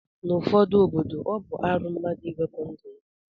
Na ụfọdu obodo ọbu arụ mmadu iwepu ndu ya